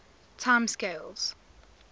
time scales